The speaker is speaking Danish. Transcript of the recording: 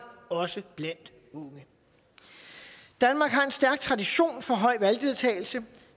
også blandt unge danmark har en stærk tradition for høj valgdeltagelse